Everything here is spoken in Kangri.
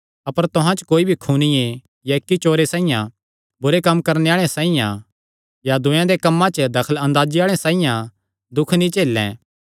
अपर तुहां च कोई भी खूनिये या इक्क चोरे साइआं बुरे कम्म करणे आल़े साइआं या दूये दे कम्मां च दखलअंदाजी आल़े साइआं दुख नीं झेलैं